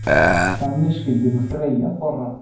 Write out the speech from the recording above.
Þannig skyldi nú þreyja þorrann.